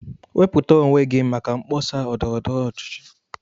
Wepụta onwe gị maka mkpọsa ndọrọ ndọrọ ọchịchị